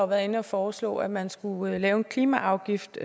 været inde at foreslå at man skulle lave en klimaafgift